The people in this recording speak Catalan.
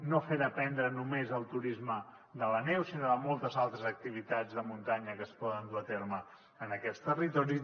no fer dependre només el turisme de la neu sinó de moltes altres activitats de muntanya que es poden dur a terme en aquests territoris